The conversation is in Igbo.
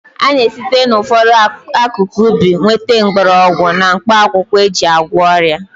A na-esite n'ụfọdụ akụkụ ubi nweta mgbọrọgwụ na mkpaakwụkwọ e ji agwọ ọrịa